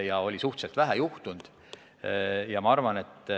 Alles oli suhteliselt vähe juhtunud.